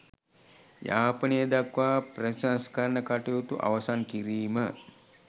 යාපනය දක්වා ප්‍රතිසංස්කරණ කටයුතු අවසන් කිරීම